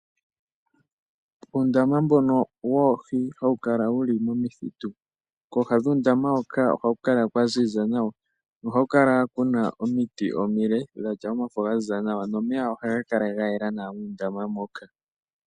Uundama mbono woohi hawu kala wuli momithitu kooha dhuundama hoka ohaku kala kwa ziza nawa nohaku kala kuna omiti omile dhatya omafo ga ziza nawa nomeya ohaga kala ga yela nawa muundama moka.